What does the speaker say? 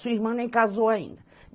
Sua irmã nem casou ainda.